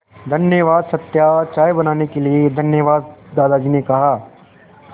धन्यवाद सत्या चाय बनाने के लिए धन्यवाद दादाजी ने कहा